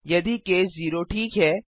यदि केस 0 ठीक है